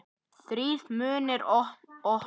Þrír munnar opnast.